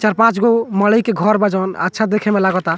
चार-पाँचगो मड़ई के घर बा जोन अच्छा देखे में लागोता।